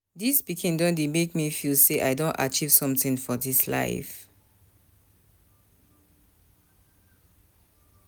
Dis pikin don make me feel sey I don achieve sometin for dis life.